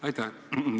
Aitäh!